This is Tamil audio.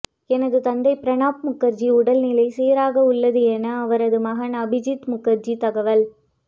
எனது தந்தை பிரணாப் முகர்ஜி உடல்நிலை சீராக உள்ளது என அவரது மகன் அபிஜித் முகர்ஜி தகவல்